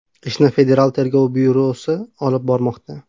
Ishni Federal tergov byurosi olib bormoqda.